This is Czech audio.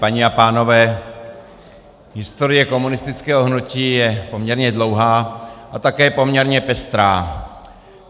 Paní a pánové, historie komunistického hnutí je poměrně dlouhá a také poměrně pestrá.